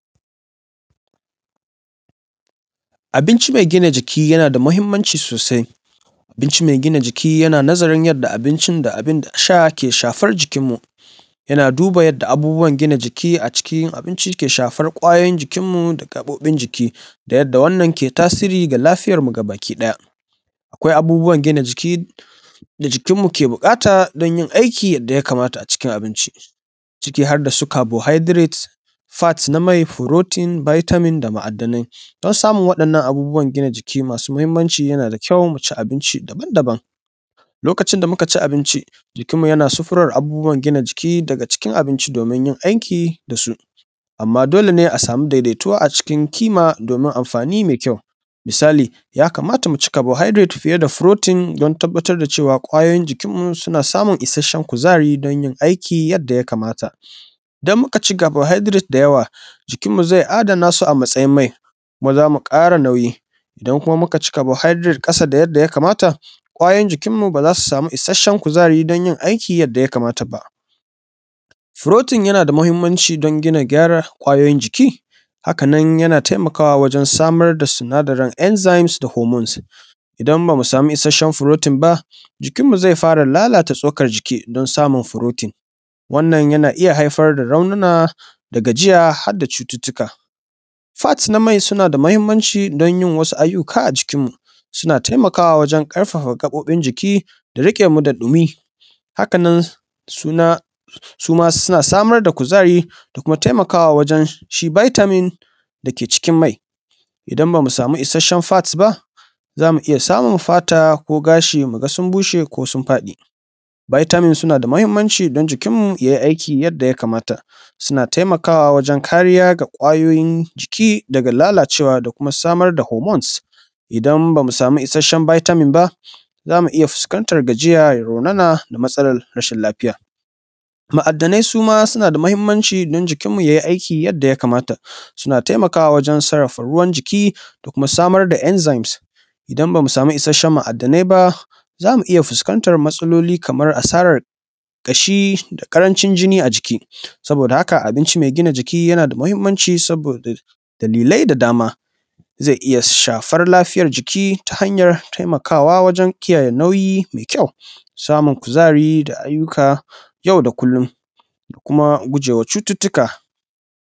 Abinci mai gina jiki yana da muhinmanci sosai. Abinci mai gina jiki yana nazarin yanda abinci da abin sha ke shafan jikin mu. Yana duba yanda abubuwa gina jiki a cikin abinci ke shafan ƙwayoyin jikin mu da gaɓoɓin jiki da yanda wannan ke tasiri ga lafiyar mu gaba ki ɗaya. Akwai abubuwan gina jiki da jikin mu ke buƙata don yi aikin yanda ya kamata a cikin abinci ciki har da su carbohydrate, fat na mai, protein, Vitamin da ma’adanai. Don samun wa'innan abubuwan gina jiki masu muhimmanci yana da kyau mu ci abinci daban daban lokacin da muka ci abinci jikin mu yana safaran abubuwa gina jiki daga cikin abinci domin yi aiki da su. Amma dole ne a samu daidaituwa a cikin kima domin amfani mai kyau. Misali ya kamata mu ci carbohydrate fiye da protein don tabatar da cewa ƙwayoyin jikin mu suna samun ishashshen kuzari don yin aiki yanda ya kamata. Idan muka ci carbohydrate da yawa jikin mu zai adana su a matsayin mai kuma zamu ƙara nauyi. Idan kuma muka ci carbohydrate ƙasa da yanda ya kamata ƙwayoyin jikin mu ba za su samu ishashen kuzari don yin aiki yanda ya kamata ba. Protein yana da muhimmanci don gina gyara ƙwayoyin jiki, haka nan yana taimakawa wajan samar da sinadari enzymes da hormones. Idan ba mu samu ishashan protein ba, jikin mu zai fara lalata tsokan jiki don samun protein. Wannan yana iya haifar da raunana da gajiya har da cututtuka. Fat na mai suna da muhimmanci don yin wasu aiyyuka a jikin mu suna taimaka wajan ƙarfafa gaɓoɓin jiki da riƙe mu da ɗumi haka nan suma suna samar da kuzari da kuma taimakawa wajan shi Vitamin da ke cikin mai idan ba mu samu ishashen fat ba za mu iya samun fata ko gashi mu ga su bushe ko su faɗi. Vitamin sunan da mahinmanci don jikin mu ya yi aikin yanda ya kamata, suna taimakawa wajan kariya ga ƙwayoyin jiki daga lalacewa da kuma samar da hormones idan bamu samu ishashen vitamin ba zamu iya fuskanta gajiya ya raunan da matsalar rashin lafiya. Ma'adanai suma suna da muhinmanci dan jikin mu yai aiki yanda ya kamata suna taimakawa wajan sarrafa ruwan jiki da kuma samar da enzymes. Idan bamu samu ishashen ma'adanai ba za mu iya fuskantar matsaloli kamar a saran ƙashi, da ƙaranci jini a jiki. Saboda haka abinci mai ginan jiki yana da muhinmanci saboda dalilai da dama. Zai iya shafar lafiyar jiki ta hanyar taimaka wa wajan kiyaye nauyi mai kyau, samun kuzari da aiyyuka yau da kullun da kuma gujewa cucuttuka.